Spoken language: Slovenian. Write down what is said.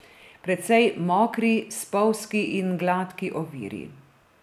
Precej mokri, spolzki in gladki oviri.